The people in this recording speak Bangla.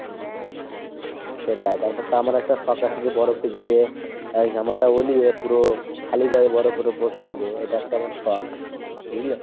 সেটাই। তারপর তো আমার একটা শখ আছে যে বরফে গিয়ে আহ জামাটা অলিয়ে পুরো খালি গায়ে বরফের ওপর শুবো এটা একটা আমার শখ। বুঝলে ?